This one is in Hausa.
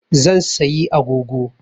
Zan sayi agogo